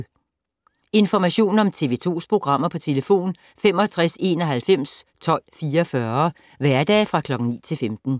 Information om TV 2's programmer: 65 91 12 44, hverdage 9-15.